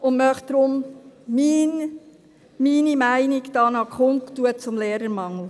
Deshalb möchte ich hier meine Meinung zum Lehrermangel kundtun.